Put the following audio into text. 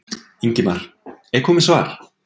Ingimar: Er komið svar?